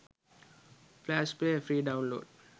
flash player free download